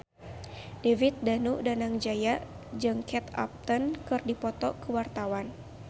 David Danu Danangjaya jeung Kate Upton keur dipoto ku wartawan